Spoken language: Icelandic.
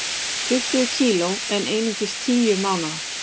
Tuttugu kg en einungis tíu mánaða